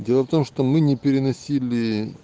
дело в том что мы не переносили